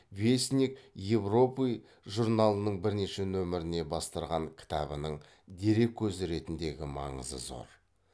вестник европы журналының бірнеше нөміріне бастырған кітабының дерек көзі ретіндегі маңызы зор